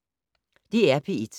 DR P1